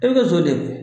E bɛ ka jɔn de